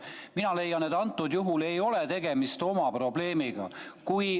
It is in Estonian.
Mina leian, et antud juhul ei ole tegemist oma probleemiga.